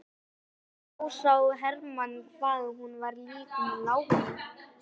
Þá sá Hermann hvað hún var lík láru.